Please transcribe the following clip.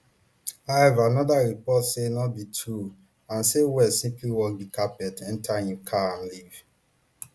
however anoda report say no be true and say west simply walk di carpet enter im car and leave